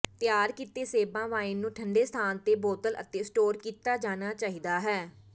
ਤਿਆਰ ਕੀਤੇ ਸੇਬਾਂ ਵਾਈਨ ਨੂੰ ਠੰਢੇ ਸਥਾਨ ਤੇ ਬੋਤਲ ਅਤੇ ਸਟੋਰ ਕੀਤਾ ਜਾਣਾ ਚਾਹੀਦਾ ਹੈ